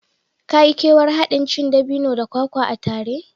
Ka yi kewar haɗin cin dabino da kwakwa a tare